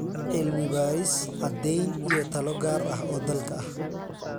Cilmi-baaris, caddayn iyo talo gaar ah oo dalka ah.